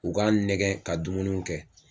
U k'a nɛgɛ ka dumunuw kɛ